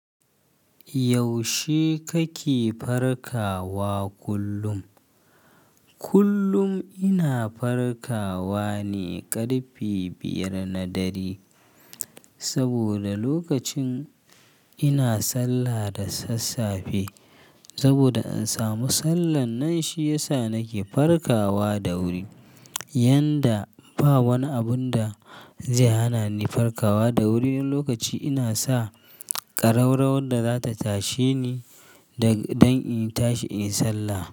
Yaushe kake farkawa kullum? Kullum ina farkawa ne ƙarfe biyar na dare, saboda lokacin ina sallah da sassafe saboda ansa musallan nan shi yasa nake farkawa da wuri. Yanda ba wani abun da zai hana ni farkawa da wuri, wani lokaci ina sa ƙararrawar da zata tashe ni dan in tashi inyi sallah.